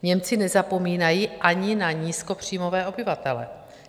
Němci nezapomínají ani na nízkopříjmové obyvatele.